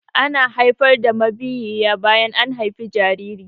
Ana haifar da mabiyiya bayan an haifi jariri.